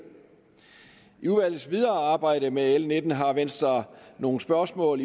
i udvalgets videre arbejde med l nitten har venstre nogle spørgsmål